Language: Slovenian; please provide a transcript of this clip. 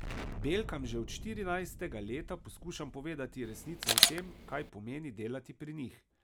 Belkam že od štirinajstega leta poskušam povedati resnico o tem, kaj pomeni delati pri njih.